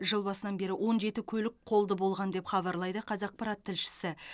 жыл басынан бері он жеті көлік қолды болған деп хабарлайды қазақпарат тілшісі